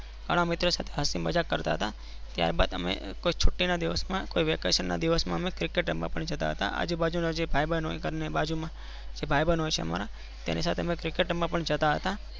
ગણા મિત્રો હસી મજાક કરતા હતા. ત્યાર બાદ અમે કોઈ છુટ્ટી ના દિવસમાં cricket રમવા જતા હતા. આજુ બાજુ માં જે ભાઈ બંધ હોય ગરની બાજુ માં જે ભાઈ બંધ હોય છે અમારા એમની સાથે અમે cricket રમવા પણ જતા હતા.